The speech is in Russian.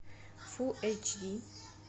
фулл эйч ди